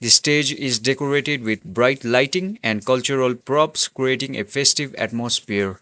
stage is decorated with bright lighting and cultural props creating a festive atmosphere.